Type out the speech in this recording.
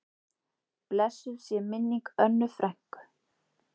Blessuð sé minning Önnu frænku.